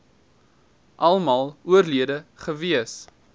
almal oorlede gewees